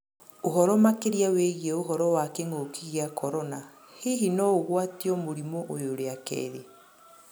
Ũhoro makĩrĩa wĩgĩe ũhoro wa kĩng'ũkĩ gĩa Korona: hĩhĩ noũgwatĩo mũrĩmũ ũyũ rĩa kerĩ?